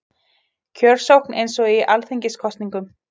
Kjörsókn eins og í alþingiskosningum